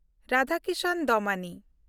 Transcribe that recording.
Radhakishan Damani